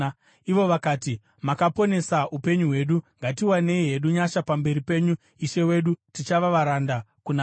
Ivo vakati, “Makaponesa upenyu hwedu. Ngatiwanei hedu nyasha pamberi penyu ishe wedu; tichava varanda kuna Faro.”